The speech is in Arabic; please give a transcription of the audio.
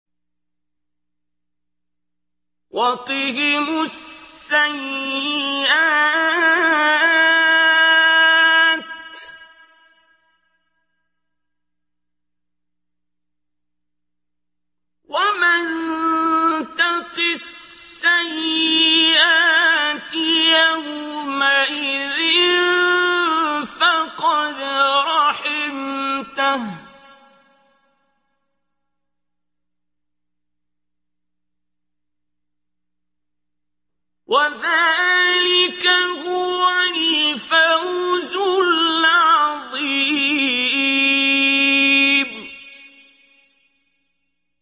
وَقِهِمُ السَّيِّئَاتِ ۚ وَمَن تَقِ السَّيِّئَاتِ يَوْمَئِذٍ فَقَدْ رَحِمْتَهُ ۚ وَذَٰلِكَ هُوَ الْفَوْزُ الْعَظِيمُ